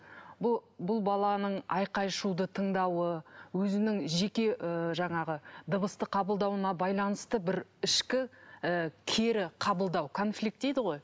бұл бұл баланың айқай шуды тыңдауы өзінің жеке ы жаңағы дыбысты қабылдауына байланысты бір ішкі ы кері қабылдау конфликт дейді ғой